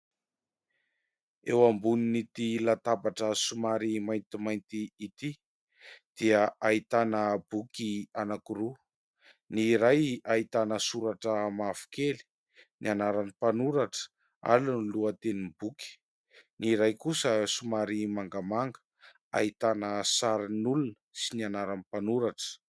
Eo ambonin'ity latabatra somary maintimainty ity dia ahitana boky anankiroa: ny iray ahitana soratra mavokely, ny anaran'ny mpanoratra ary ny lohatenin'ny boky; ny iray kosa somary mangamanga ahitana sarin'olona sy ny anaran'ny manoratra.